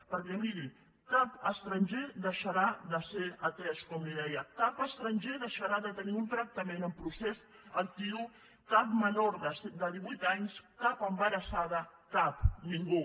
perquè miri cap estranger deixarà de ser atès com li deia cap estranger deixarà de tenir un tractament en procés actiu cap menor de divuit anys cap embarassada cap ningú